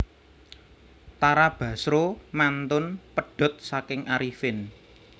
Tara Basro mantun pedhot saking Arifin